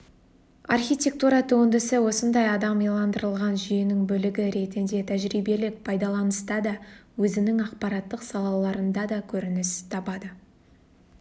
архитектура туындысы осындай адам иландырылған жүйенің бөлігі ретінде тәжірибелік пайдаланыста да өзінің ақпараттық сапаларында да көрініс табады